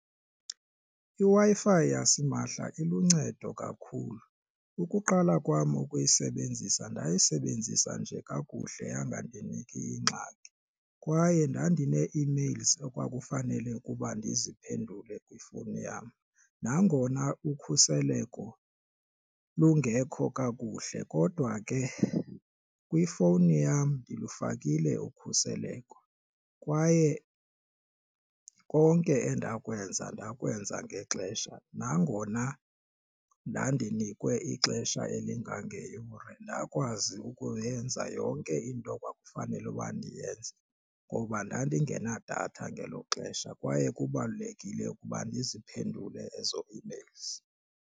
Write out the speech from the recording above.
IWi-Fi yasimahla iluncedo kakhulu. Ukuqala kwam ukuyisebenzisa ndayisebenzisa nje kakuhle yangandiniki ingxaki kwaye ndandinee-emails okwakufanele ukuba ndiziphendule kwifowuni yam. Nangona ukhuseleko lungekho kakuhle kodwa ke kwifowuni yam ndilufakile ukhuseleko kwaye konke endikwenza ndakwenza ngexesha nangona ndandinikwe ixesha elingangeyure ndakwazi ukuyenza yonke into kwakufanele uba ndiyenze ngoba ndandingenadatha ngelo xesha kwaye kubalulekile ukuba ndiziphendule ezo emails.